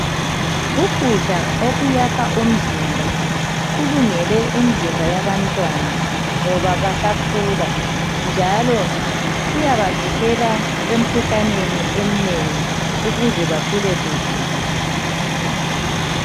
Ukudla okuyakha umzimba kulungele imzimba yabantwana ngoba basakhula, njalo kuyabavikela emkhuhlaneni emnengi ukuze bakhule kuhle.